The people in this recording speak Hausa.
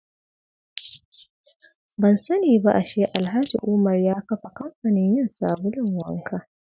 Ban sani ba ashe Alhaji Umar ya kafa kamfanin yin sabulun wanka.